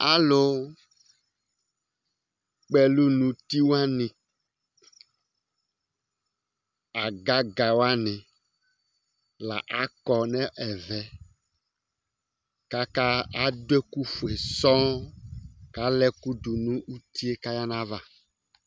Alu kpɔ ɛlu nʋ ʋti wani, agaga wani la akɔ nʋ ɛvɛ kʋ adu ɛku fʋe sɔɔ kʋ ala ɛkʋ du nu ʋti kʋ adu ayʋ ava